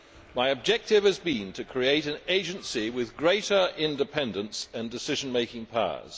My objective has been to create an agency with greater independence and decision making powers.